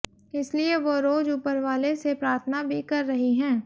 इसलिए वो रोज ऊपर वाले से प्रार्थना भी कर रही हैं